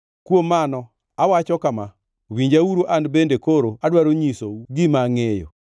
“Kuom mano, awacho kama: Winjauru; an bende koro adwaro nyisou gima angʼeyo.